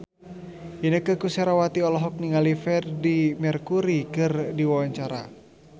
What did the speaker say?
Inneke Koesherawati olohok ningali Freedie Mercury keur diwawancara